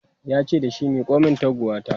yace dashi "Miko min taguwa ta!"